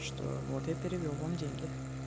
что вот я перевёл вам деньги